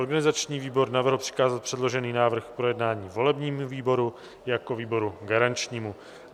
Organizační výbor navrhl přikázat předložený návrh k projednání volebnímu výboru jako výboru garančnímu.